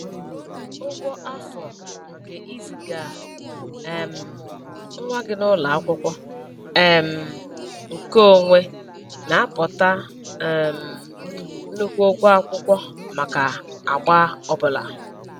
Ụgwọ afọ nke iziga um nwa gị n'ụlọ akwụkwọ um nke onwe na aputa um nnukwu ụgwọ akwụkwọ maka agba ọbụla